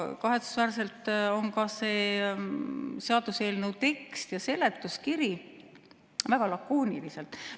Kahetsusväärselt on ka seaduseelnõu tekst ja seletuskiri väga lakoonilised.